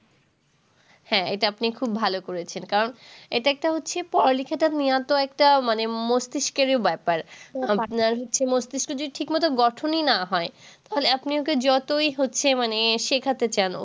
হ্যাঁ এটা আপনি খুব ভালো করেছেন। কারণ এটা একটা হচ্ছে পড়া-লিখাটা মূলত একটা মানে মস্তিস্কেরও ব্যাপার আপনার হচ্ছে মস্তিস্ক যদি ঠিক মতন গঠনই না হয়, তাহলে আপনি ওকে যতই মানে হচ্ছে মানে শেখাতে চান